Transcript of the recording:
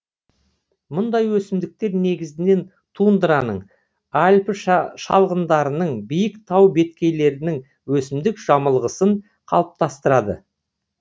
мұндай өсімдіктер негізінен тундраның альпі шалғындарының биік тау беткейлерінің өсімдік жамылғысын қалыптастырады